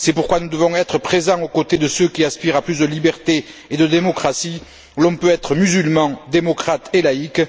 C'est pourquoi nous devons être présents aux côtés de ceux qui aspirent à plus de liberté et de démocratie, où l'on peut être musulman, démocrate et laïque.